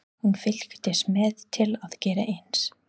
Hún fylgdist með til að gera eins.